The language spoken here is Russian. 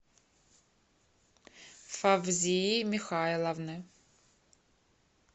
фавзии михайловны